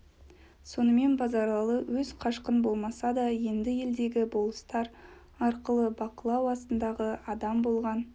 сонымен базаралы өз қашқын болмаса да енді елдегі болыстар арқылы бақылау астындағы адам болған